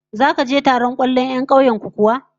Zaka je taron 'yan kwallon kauyen ku kuwa?